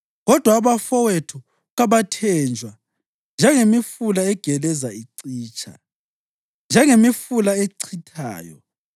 Kodwa abafowethu kabathenjwa njengemifula egeleza icitsha, njengemifula echithayo